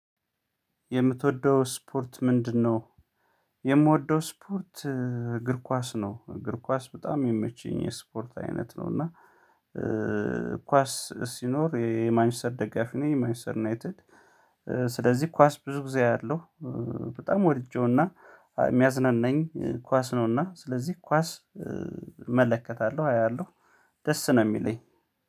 የምትወደው ስፖርት ምንድነው? የምወደው ስፖርት እግር ኳስ ነው እግር ኳስ በጣም የሚመችኝ የስፖርት አይነት ነው እና እህ ኳስ ሲኖር የማንችስተር ደጋፊ ነኝ የማንችስተር ዩናይትድ ስለዚህ ኳስ ብዙ ጊዜ አያለው። በጣም ወድጄውና የሚያዝናናኝ ኳስ ነውና ስለዚህ ኳስ እመለከታለሁ አያለሁ ደስ ነው የሚለኝ።